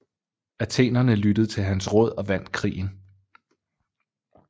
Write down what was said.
Athenerne lyttede til hans råd og vandt krigen